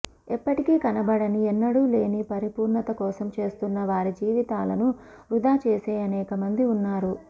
ఎప్పటికీ కనబడని ఎన్నడూ లేని పరిపూర్ణత కోసం చూస్తున్న వారి జీవితాలను వృధా చేసే అనేకమంది ఉన్నారు